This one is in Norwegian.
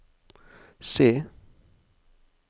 C